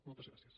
moltes gràcies